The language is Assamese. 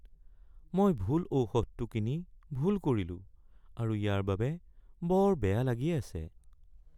মই ভুল ঔষধটো কিনি ভুল কৰিলো আৰু ইয়াৰ বাবে বৰ বেয়া লাগি আছে।